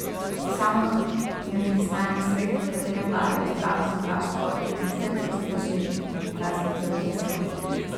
Sama ne pristaja na svet, v katerem vladajo strah, sovraštvo, nestrpnost, laži in razne teorije zarot.